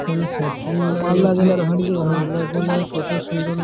এখানে স্যাটরিং লাগানো আছে মালদা জেলা কত সুন্দর লাগ্--